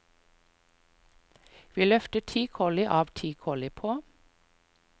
Vi løftet ti kolli av og ti kolli på.